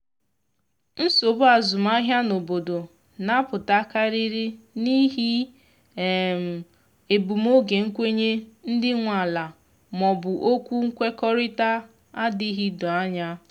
nsogbu azụmahịa n’obodo na apụta karịrị n'ihi egbum oge nkwenye ndị nwe ala ma ọ bụ okwu nkwekọrịta adịghị doo anya